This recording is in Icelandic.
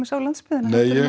á landsbyggðina